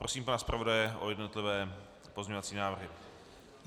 Prosím pana zpravodaje o jednotlivé pozměňovací návrhy.